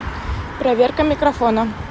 проверка микрофона